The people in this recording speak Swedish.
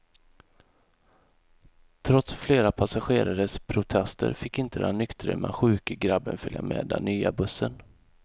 Trots flera passagerares protester fick inte den nyktre men sjuke grabben följa med den nya bussen.